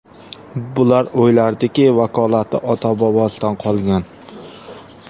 Bular o‘ylardiki, vakolati ota-bobosidan qolgan.